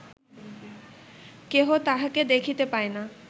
কেহ তাঁহাকে দেখিতে পায় না